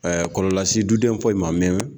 kɔlɔlɔ lase du denw foyi ma min